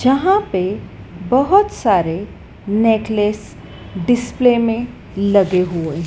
जहां पे बहोत सारे नेकलेस डिस्प्ले में लगे हुए है।